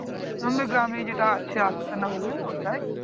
আমাদের গ্রামেই যেটা আছে আস্তানা বলে ওটাই